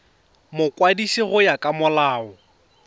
mokwadisi go ya ka molao